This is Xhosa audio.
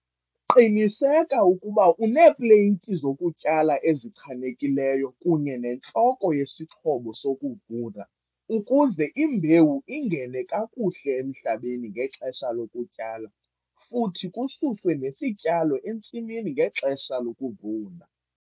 Qiniseka ukuba uneepleyiti zokutyala ezichanekileyo kunye nentloko yesixhobo sokuvuna ukuze imbewu ingene kakuhle emhlabeni ngexesha lokutyala futhi kususwe nesityalo entsimini ngexesha lokuvuna.